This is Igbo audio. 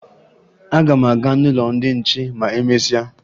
Aga m aga n'ụlọ ndị nche ma e mesịa